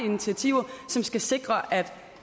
initiativer som skal sikre at